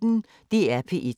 DR P1